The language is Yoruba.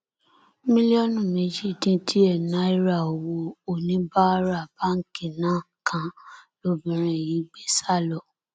mílíọnù méjì dín díẹ náírà owó oníbàárà báǹkì náà kan lobìnrin yìí gbé sá lọ